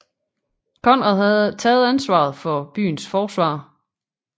Konrad havde taget ansvaret for byens forsvar